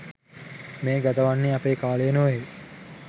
මේ ගතවන්නේ අපේ කාලය නොවේ.